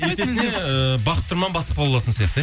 есесіне ыыы бақыт тұрман бастық бола алатын сияқты иә